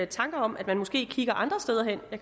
tanker om at man måske kigger andre steder hen og